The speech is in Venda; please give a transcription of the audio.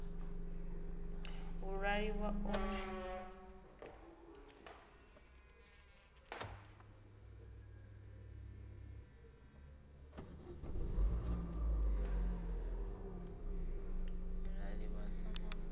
iṱali iṱo ḽithihi ḽi sa